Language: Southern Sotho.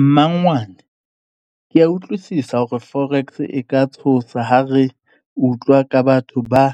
Mmangwane ke a utlwisisa hore forex e ka tshosa ha re utlwa ka batho ba